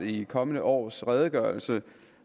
i kommende års redegørelse